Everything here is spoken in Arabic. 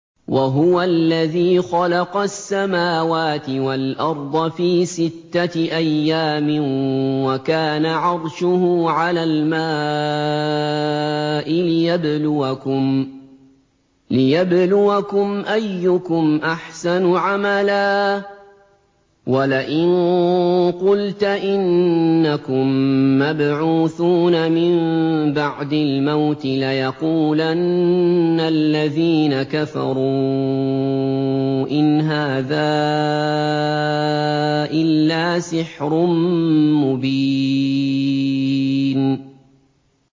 وَهُوَ الَّذِي خَلَقَ السَّمَاوَاتِ وَالْأَرْضَ فِي سِتَّةِ أَيَّامٍ وَكَانَ عَرْشُهُ عَلَى الْمَاءِ لِيَبْلُوَكُمْ أَيُّكُمْ أَحْسَنُ عَمَلًا ۗ وَلَئِن قُلْتَ إِنَّكُم مَّبْعُوثُونَ مِن بَعْدِ الْمَوْتِ لَيَقُولَنَّ الَّذِينَ كَفَرُوا إِنْ هَٰذَا إِلَّا سِحْرٌ مُّبِينٌ